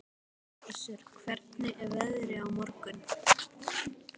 Össur, hvernig er veðrið á morgun?